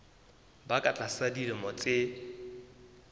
ba ka tlasa dilemo tse